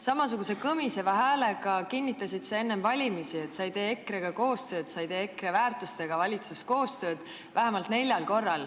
Samasuguse kõmiseva häälega kinnitasid sa enne valimisi vähemalt neljal korral, et sa ei tee EKRE-ga koostööd, et EKRE väärtused välistavad selle.